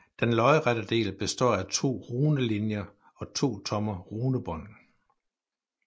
Den lodrette del består af to runelinjer og to tomme runebånd